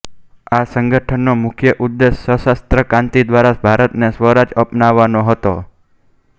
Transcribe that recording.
આ સંગઠનનો મુખ્ય ઉદ્દેશ સશસ્ત્ર કાંતિ દ્વારા ભારતને સ્વરાજ અપાવવાનો હતો